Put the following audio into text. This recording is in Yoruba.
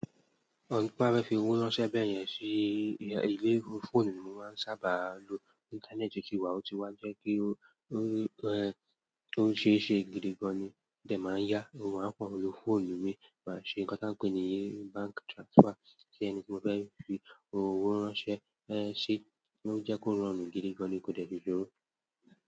Ọ̀pọ̀lọpọ̀ á rẹ́ fi owó ránṣẹ́ bẹ́yẹn sí eléèru fóònù ló máa ń sábà lo Íńtánẹ́ẹ̀tì kí wàá tó wá jẹ́ kí ó ṣe é ṣe gidigan ni. Tẹ máa ń yá owó, a máa ń fọ̀ọ̀ lo fóònù mi máa ṣe ǹkan táa ń pè ní bank transfer sí ẹni tí mo fẹ́ fi owó ránṣẹ́, ẹ́ ṣé kó jẹ́ kó rọrùn gidigan ni kò dẹ́ẹ̀ ti jọ rú.